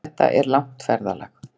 Þetta er langt ferðalag!